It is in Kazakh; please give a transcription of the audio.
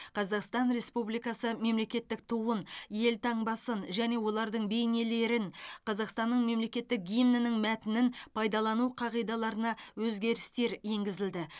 қазақстан республикасы мемлекеттік туын елтаңбасын және олардың бейнелерін қазақстанның мемлекеттік гимнінің мәтінін пайдалану қағидаларына өзгерістер енгізілді